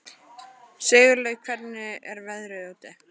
Sigurleif, hvernig er veðrið úti?